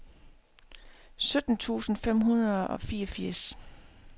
sytten tusind fem hundrede og fireogfirs